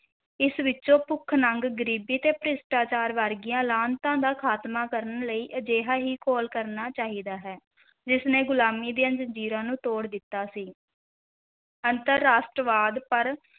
ਇਸ ਵਿੱਚੋਂ ਭੁੱਖ, ਨੰਗ, ਗਰੀਬੀ ਤੇ ਭ੍ਰਿਸ਼ਟਾਚਾਰ ਵਰਗੀਆਂ ਲਾਹਨਤਾਂ ਦਾ ਖ਼ਾਤਮਾ ਕਰਨ ਲਈ ਅਜਿਹਾ ਹੀ ਘੋਲ ਕਰਨਾ ਚਾਹੀਦਾ ਹੈ ਜਿਸ ਨੇ ਗੁਲਾਮੀ ਦੀਆਂ ਜ਼ੰਜੀਰਾਂ ਨੂੰ ਤੋੜ ਦਿੱਤਾ ਸੀ ਅੰਤਰ-ਰਾਸ਼ਟਰਵਾਦ ਪਰ